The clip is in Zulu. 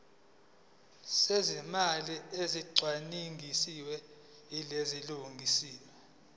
zezimali ezicwaningiwe ziyalungiswa